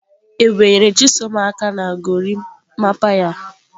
Ebube nyere chisom aka na gorimapa ya.